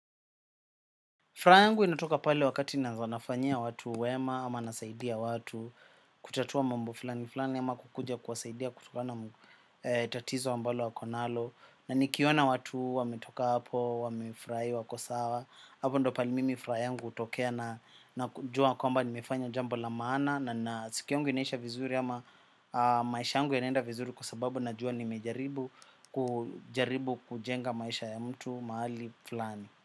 Furaha yangu inatoka pale wakati na fanyia watu wema ama nasaidia watu kutatua mambo fulani fulani ama kukuja kuwasaidia kutoka na tatizo ambalo wako nalo na nikiona watu wametoka hapo wamefurahi wako sawa hapo ndo pali mimi furaha yangu hutokea na kujua kwamba ni mefanya jambo la maana na na siku yangu inesha vizuri ama maisha yangu inenda vizuri kwa sababu najua nimejaribu kujenga maisha ya mtu mahali fulani.